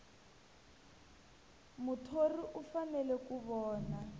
muthori u fanele ku vona